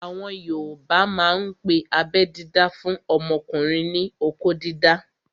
Àwọn yoòbá máa n pe abẹ́ dídá fún ọmọkùnrin ní "okó dídá"